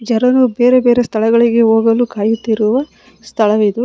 ಜನರು ಬೇರೆ ಬೇರೆ ಸ್ಥಳಗಳಿಗೆ ಹೋಗಲು ಕಾಯುತ್ತಿರುವ ಸ್ಥಳವಿದು.